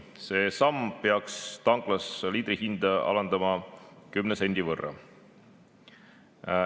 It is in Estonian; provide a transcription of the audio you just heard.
See samm peaks tanklas liitrihinda alandama kümne sendi võrra.